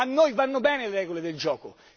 A noi vanno bene le regole del gioco.